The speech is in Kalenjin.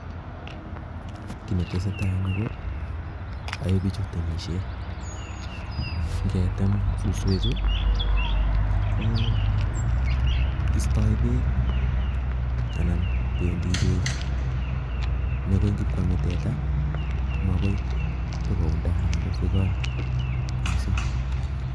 Kiy netesetai eng' yuu ko ae bichu temisiet, ngetem suswek chuu, koo istoi beek, anan bendi beek ne koi ngipwkame teta, ko magoi tikounda anan kosigon missing